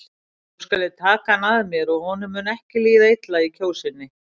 Nú skal ég taka hann að mér og honum mun ekki líða illa í Kjósinni.